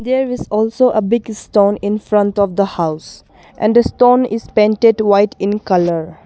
There is also a big stone in front of the house and stone is painted white in colour.